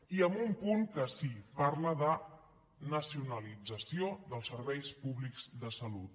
i amb un punt que sí parla de nacionalització dels serveis públics de salut